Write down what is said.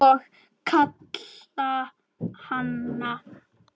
Og kitla hana.